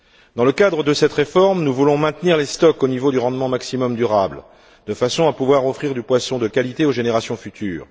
Dans le cadre de cette réforme, nous voulons maintenir les stocks au niveau du rendement maximum durable, de façon à pouvoir offrir du poisson de qualité aux générations futures.